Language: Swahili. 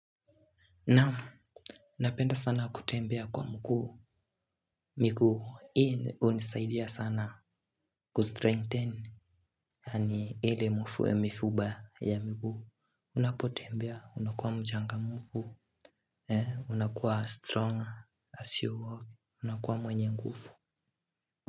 Naam, napenda sana kutembea kwa mkuu, miguu, hii hunisaidia sana kustrengthen, yaani ile mifuba ya miguu, unapotembea, unakuwa mchangamfu, unakuwa strong as you walk, unakuwa mwenye ngufu.